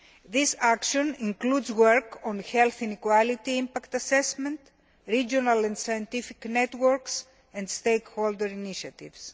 This action includes work on health inequality impact assessment, regional and scientific networks and stakeholder initiatives.